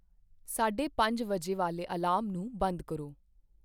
ਸਾਢੇ ਪੰਜ ਵਜੇ ਵਾਲੇ ਅਲਾਰਮ ਨੂੰ ਬੰਦ ਕਰੋ